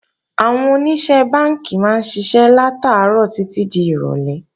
Àwọn Oníṣẹ́ Bánkì máa ń ṣiṣẹ́ látàárọ̀ títí di ìrọ̀lé